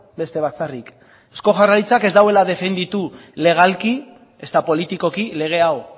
beste batzarrik eusko jaurlaritzak ez duela defenditu legalki ezta politikoki lege hau